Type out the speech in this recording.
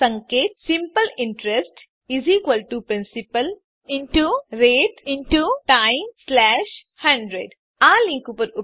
સંકેત simple interest principal rate time 100 આ link પર ઉપલબ્ધ વિડીયો જુઓ